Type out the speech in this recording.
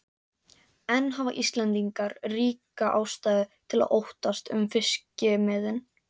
En hafa Íslendingar ríka ástæðu til að óttast um fiskimiðin?